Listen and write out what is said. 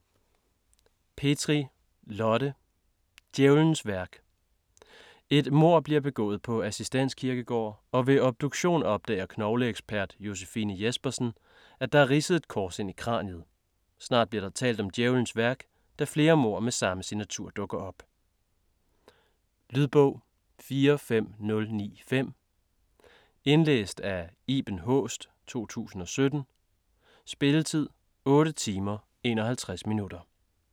Petri, Lotte: Djævelens værk Et mord bliver begået på Assistens Kirkegård og ved obduktionen opdager knogleekspert Josefine Jespersen, at der er ridset et kors ind i kraniet. Snart bliver der talt om Djævelens værk, da flere mord med samme signatur dukker op. Lydbog 45095 Indlæst af Iben Haaest, 2017. Spilletid: 8 timer, 51 minutter.